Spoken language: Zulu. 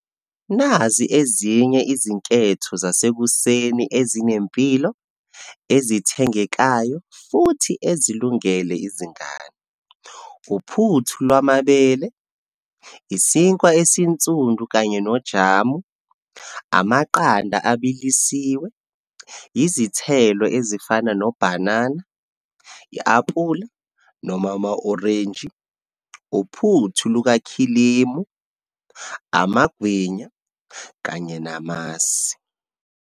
Nazi ezinye izinketho zasekuseni ezinempilo, ezithengekayo, futhi ezilungele izingane. Uphuthu lwamabele, isinkwa esinsundu kanye nojamu, amaqanda abilisiwe, izithelo ezifana nobhanana, i-apula, noma ama-orenji, uphuthu lukakhilimu, amagwinya kanye namasi.